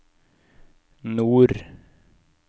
nord